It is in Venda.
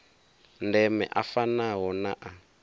ndeme a fanaho na a